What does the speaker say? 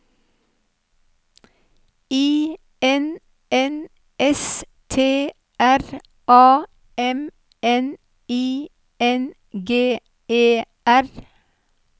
I N N S T R A M N I N G E R